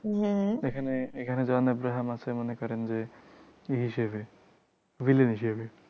হিসেবে, villain হিসেবে।